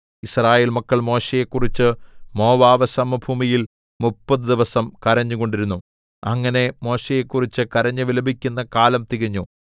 യിസ്രായേൽ മക്കൾ മോശെയെക്കുറിച്ച് മോവാബ് സമഭൂമിയിൽ മുപ്പതു ദിവസം കരഞ്ഞുകൊണ്ടിരുന്നു അങ്ങനെ മോശെയെക്കുറിച്ച് കരഞ്ഞു വിലപിക്കുന്ന കാലം തികഞ്ഞു